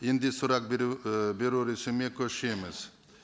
енді сұрақ беру і беру көшеміз